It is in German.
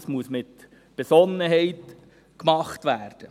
Das muss mit Besonnenheit gemacht werden.